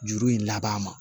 Juru in laban